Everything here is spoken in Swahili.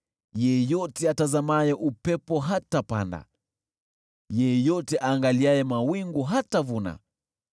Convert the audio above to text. Yeyote atazamaye upepo hatapanda, yeyote aangaliaye mawingu hatavuna.